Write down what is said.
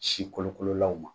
Si kolokololaw ma.